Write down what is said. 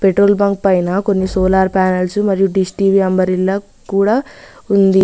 Petrol bunk పైనా కొన్ని solar panels మరియు డిష్ టీవీ అంబరిల్ల కూడా ఉంది.